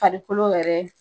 Parikolo yɛrɛ